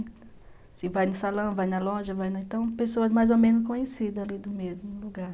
Você vai no salão, vai na loja, vai no... Então, pessoas mais ou menos conhecidas ali do mesmo lugar.